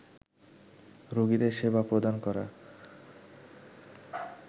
রোগীদের সেবা প্রদান করা